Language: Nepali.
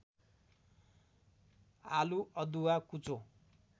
आलु अदुवा कुचो